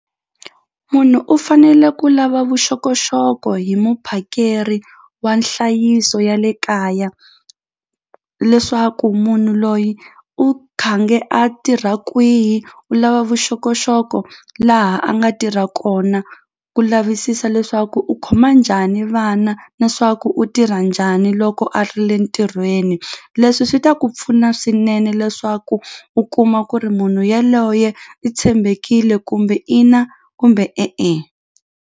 Munhu u fanele ku lava vuxokoxoko hi muphakeri wa nhlayiso ya le kaya leswaku munhu loyi u khange a tirha kwihi u lava vuxokoxoko laha a nga tirha kona ku lavisisa leswaku u khoma njhani vana na swa ku u tirha njhani loko a ri le ntirhweni leswi swi ta ku pfuna swinene leswaku u kuma ku ri munhu yaloye i tshembekile kumbe ina kumbe e-e.